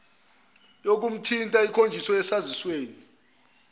yokumthinta ikhonjiswe esazisweni